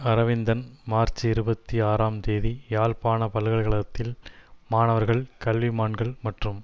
Aravindan March இருபத்தி ஆறாம் தேதி யாழ்ப்பாண பல்கலைகழகத்தில் மாணவர்கள் கல்விமான்கள் மற்றும்